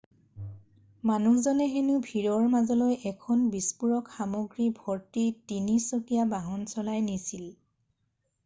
মানুহজনে হেনু ভিৰৰ মাজলৈ এখন বিস্ফোৰক সামগ্ৰী ভৰ্তি তিনি-চকীয়া বাহন চলাই নিছিল